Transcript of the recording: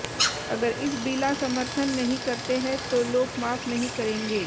अगर इस बिला समर्थन नहीं करते है तो लोग माफ नहीं करेंगे